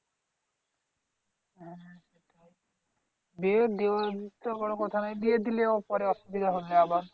বিয়ে দেওয়া তো বড় কথা নয় বিয়ে দিলেও পরে অসুবিধা হবে আবার